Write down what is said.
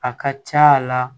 A ka ca la